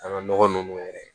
An ka nɔgɔ nunnu yɛrɛ